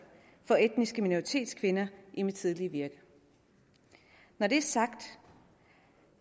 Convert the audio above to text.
for etniske minoritetskvinder i mit tidligere virke når det er sagt